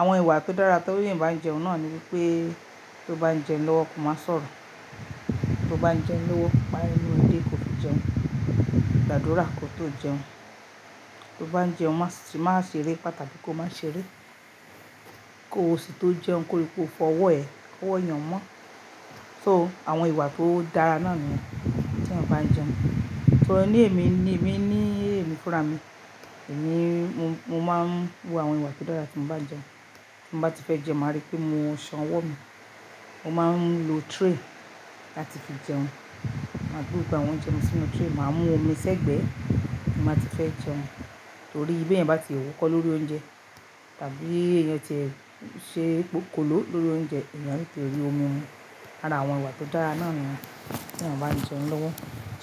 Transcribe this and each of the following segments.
Àwọn ìwà tó dára torí èèyàn bá ń jẹun náà ni wípé tó bá ń jẹun lọ́wọ́ kò má sọ̀rọ̀. Tó bá ń jẹun lọ́wọ́, pa enu rẹ dé kó tó jẹun, gbàdúrà kó tó jẹun. Tó bá ń jẹun má ṣe máa ṣeré patapì kò má ṣe eré. Kó o sì tó jẹun kó rí pé o fọ ọwọ́ ẹ, kọ́wọ́ yẹn mọ́. So àwọn ìwà tó dára náà nìyẹn tí èèyàn bá ń jẹun. Torí ní èmi ni, èmi ní ẹ̀mí fúnra mi. Èmi mo máa ń wo àwọn ìwà tó dára tí mo bá ń jẹun. Bí mo bá ti fẹ́ jẹun, màá rí pé mo san ọwọ́ mi. Mo máa ń lo tray láti fi jẹun. Màá gbé gbogbo àwọn oúnjẹ mi sínú tray. Màá mú omi sẹ́gbẹ̀ẹ́ bí mo bá ti fẹ́ jẹun. Torí bí èèyàn bá ti ẹ̀ wúkọ́ lórí oúnjẹ tàbí èèyàn ti ṣe pokòló lórí oúnjẹ, èèyàn lè ti rí omi mu. Àrà àwọn ìwà tó dára náà ni yẹn tí èèyàn bá ń jẹun lọ́wọ́.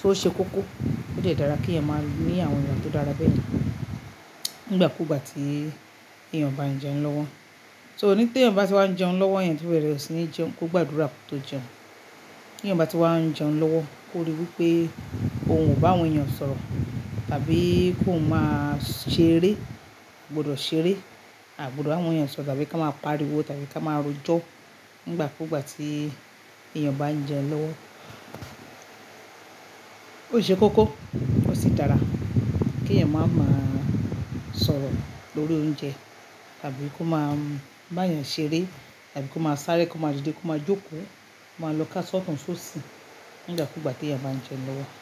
O ṣe koko, ó lè dára kí èèyàn máa ní àwọn ìwà tó dára bẹ́ẹ̀ nígbà kúgbà tí èèyàn bá ń jẹun lọ́wọ́. So ní tí èèyàn bá ti wá ń jẹun lọ́wọ́, èèyàn to bẹrẹ̀ sí ní jẹun, kó gbàdúrà kó tó jẹun. Kí èèyàn bá ti wá ń jẹun lọ́wọ́, kó rí wípé òun kò bá àwọn èèyàn sọ̀rọ̀ tàbí kó má ṣeré, gbọ́dọ̀ ṣeré àti gbọ́dọ̀ àwọn èèyàn sọ̀rọ̀ tàbí ká máa pariwo tàbí ká máa rojọ́ nígbà kúgbà tí èèyàn bá ń jẹun lọ́wọ́. Ó ṣe koko, ó sì dára kí èèyàn má máa sọ̀rọ̀ lórí oúnjẹ tàbí kó má bá yàn ṣeré tàbí kó má sáré kó má dìde kó má jókòó, kò ma lọ ká ṣọtùn-ṣósì nígbà kúgbà tí èèyàn bá ń jẹun lọ́wọ́